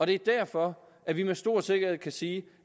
det er derfor at vi med stor sikkerhed kan sige